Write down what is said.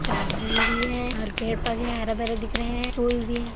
Garden भी है और पेड़ -पौधे हरे -भरे दिख रहे है पूल भी हैं।